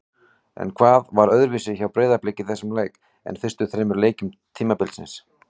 En hvað var öðruvísi hjá Breiðablik í þessum leik en fyrstu þremur leikjum tímabilsins?